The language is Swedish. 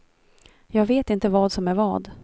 Jag vet inte vad som är vad.